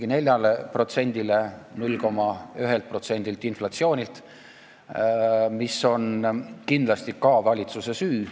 Inflatsioon on 0,1%-lt ligi 4%-le kasvanud, mis on kindlasti ka valitsuse süü.